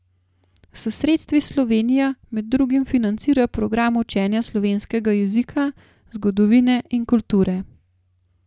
S sredstvi Slovenija med drugim financira program učenja slovenskega jezika, zgodovine in kulture.